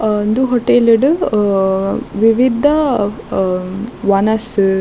ಆ ಉಂದು ಹೊಟೇಲ್ಡ್ ವಿವಿಧ ಅಹ್ ವನಸ್ --